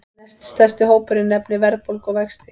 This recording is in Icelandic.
Næststærsti hópurinn nefnir verðbólgu og vexti